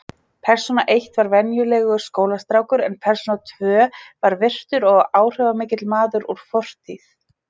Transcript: Persóna eitt var venjulegur skólastrákur en persóna tvö var virtur og áhrifamikill maður úr fortíð.